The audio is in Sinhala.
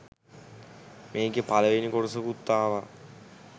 මේකෙ පළවෙනි කොටසකුත් ආවා.